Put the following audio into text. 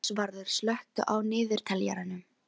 Ásvarður, slökktu á niðurteljaranum.